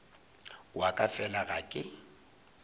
wa ka fela ga ke